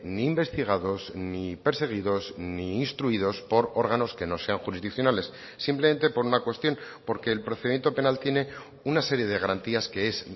ni investigados ni perseguidos ni instruidos por órganos que no sean jurisdiccionales simplemente por una cuestión porque el procedimiento penal tiene una serie de garantías que es